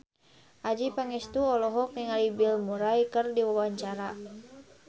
Adjie Pangestu olohok ningali Bill Murray keur diwawancara